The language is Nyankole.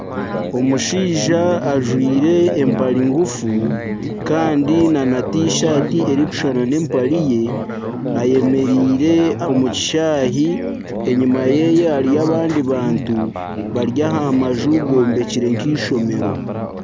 OMushaija ajwaire empare ngufu kandi nana tishaati erikushushana n'empare ye. Ayemereire omu kishaayi enyima yeeye hariyo abandi abantu bari aha maju gombekire nk'eishomero.